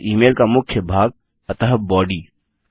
फिर email का मुख्य भाग अतः बॉडी